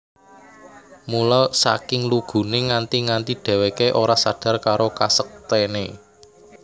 Mula saking luguné nganti nganti dhèwèké ora sadar karo kasektèné